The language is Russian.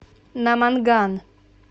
наманган